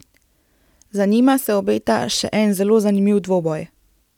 Za njima se obeta še eno zelo zanimiv dvoboj.